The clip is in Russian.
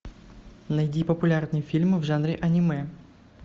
найди популярные фильмы в жанре аниме